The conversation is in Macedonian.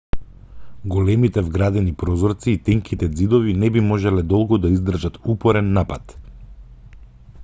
големите вградени прозорци и тенките ѕидови не би можеле долго да издржат упорен напад